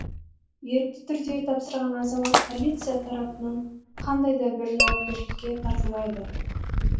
ерікті түрде тапсырған азамат полиция тарапынан қандай да бір жауапкершілікке тартылмайды